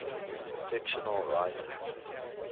fictional writers